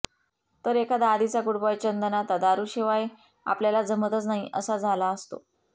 तर एखादा आधीचा गूडबॉय चंदन आता दारूशिवाय आपल्याला जमतच नाही असा झाला असतो